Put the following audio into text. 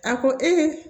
A ko